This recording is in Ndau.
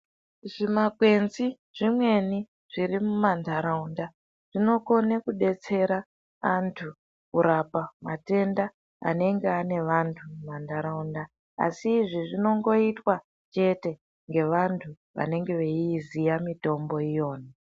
Zvimakwenzi zvimweni zviri mumantaraunda zvinokone kudetsera antu kurapa matenda anenge ane vantu mumantaraunda, asi izvi zvinongoitwa chete ngevantu vanenge veiiziya mitombo iyona.